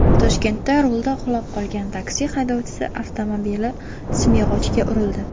Toshkentda rulda uxlab qolgan taksi haydovchisi avtomobili simyog‘ochga urildi .